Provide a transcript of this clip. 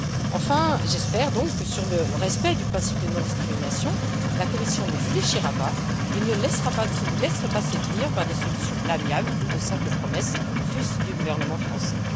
Enfin, j'espère que sur le respect du principe de non discrimination, la Commission ne fléchira pas et ne se laissera pas séduire par des solutions à l'amiable ou de simples promesses, fût ce du gouvernement français.